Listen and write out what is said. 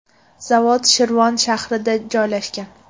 Zavod Shirvon shahrida joylashgan.